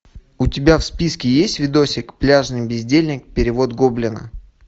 у тебя в списке есть видосик пляжный бездельник перевод гоблина